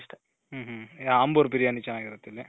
ಹ್ಮ್ ಹ್ಮ್ ಆಂಬೂರ್ ಬಿರಿಯಾನಿ ಚೆನಾಗಿರುತ್ತೆ ಇಲ್ಲಿ .